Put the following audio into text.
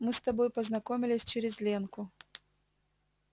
мы с тобой познакомились через ленку